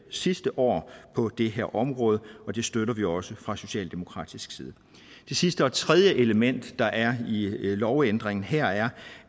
sidste år på det her område og det støtter vi også fra socialdemokratisk side det sidste og tredje element der er i lovændringen her er